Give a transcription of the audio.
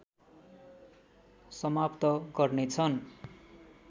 समाप्त गर्नेछन्